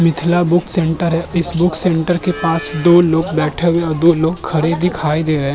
Mithila book centre है। इस book centre के पास दो लोग बैठे हुए और दो लोग खड़े दिखाई दे रहे --